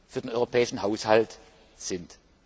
für den europäischen Haushalt sind.